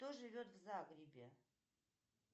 кто живет в загребе